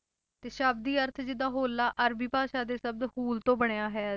ਤੇ ਸ਼ਬਦੀ ਅਰਥ ਜਿੱਦਾਂ ਹੋਲਾ ਅਰਬੀ ਭਾਸ਼ਾ ਦੇ ਸ਼ਬਦ ਹੂਲ ਤੋਂ ਬਣਿਆ ਹੈ,